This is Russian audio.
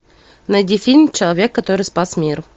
найди фильм человек который спас мир